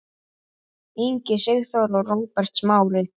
Ingi Sigþór og Róbert Smári.